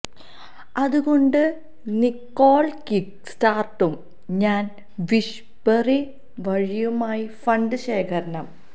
അത് കൊണ്ട് നിക്കോൾ കിക്ക് സ്റ്റാർട്ടും ഞാൻ വിഷ്ബറി വഴിയുമായി ഫണ്ട് ശേഖരണം